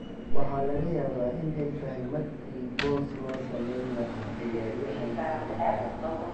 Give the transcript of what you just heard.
Waxa laga yaabaa in ay tahay markii boos loo samayn lahaa ciyaaryahan saddexaad.